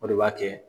O de b'a kɛ